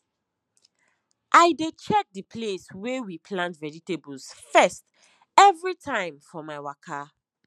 i dey check the place wey we plant vegetables first every time for my waka